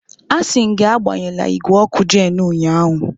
Asị m gị agbanyela igwe ọkụ Jenu ụnyahụ!